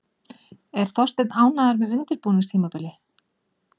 Er Þorsteinn ánægður með undirbúningstímabilið?